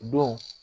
O don